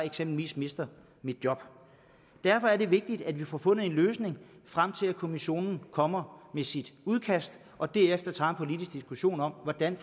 eksempelvis mister sit job derfor er det vigtigt at vi får fundet en løsning frem til at kommissionen kommer med sit udkast og derefter tager politisk diskussion om hvordan